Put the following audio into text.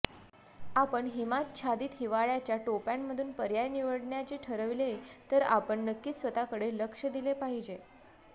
आपण हिमाच्छादित हिवाळाच्या टोप्यांमधून पर्याय निवडण्याचे ठरविले तर आपण नक्कीच स्वतःकडे लक्ष दिले पाहिजे